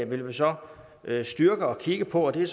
vil vi så styrke og kigge på og det